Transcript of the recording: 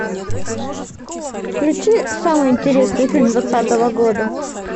включи самый интересный фильм двадцатого года